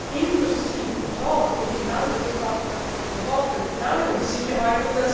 Die Industrie und die Handelspartner brauchen Planungssicherheit.